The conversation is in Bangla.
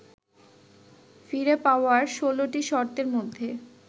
ফিরে পাওয়ার ১৬টি শর্তের মধ্যে